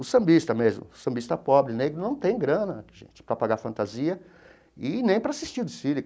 O sambista mesmo, o sambista pobre, negro, não tem grana, gente, para pagar fantasia, e nem para assistir o desfile.